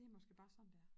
Det måske bare sådan det er